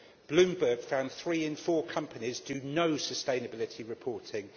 Bloomberg found that three in four companies do no sustainability reporting.